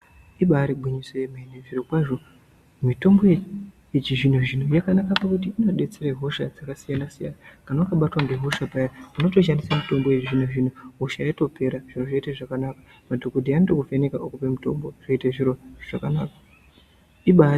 Ibaari gwinyiso yemene, zvirokwazvo mitombo yechizvino-zvino , yakanaka pakuti inodetsere hosha dzakasiyana-siyana kana wakabatwa ngehosha paya unotoshandise mitombo yechizvino-zvino ,hosha yotopera ,zviro zvoite zvakanaka . Madhokodheya anotokuvheneka okupe mitombo zvoite zviro zvakanaka. Ibaari....